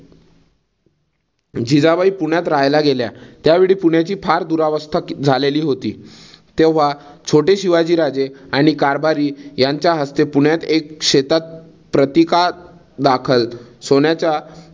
जिजाबाई पुण्यात रहायला गेल्या, त्यावेळी पुण्याची फार दुरवस्था झालेली होती. तेव्हा छोटे शिवाजी राजे आणि कारभारी यांच्या हस्ते पुण्यात एका शेतात प्रतीका दाखल सोन्याचा